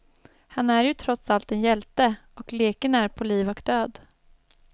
Han är ju trots allt en hjälte, och leken är på liv och död.